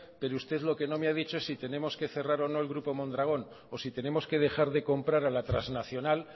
pero lo que usted no me ha dicho es que si tenemos que cerrar o no el grupo mondragón o sí tenemos que dejar de comprar a la transnacional